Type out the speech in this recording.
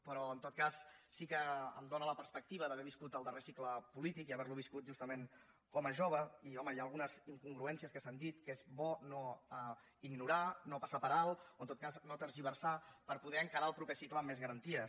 però en tot cas sí que em dóna la perspectiva d’haver viscut el darrer cicle polític i haver lo viscut justament com a jove i home hi ha algunes incongruències que s’han dit que és bo no ignorar no passar per alt o en tot cas no tergiversar per poder encarar el proper cicle amb més garanties